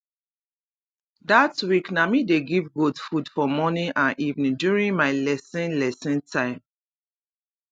that week na me dey give goat food for morning and evening during my lesson lesson time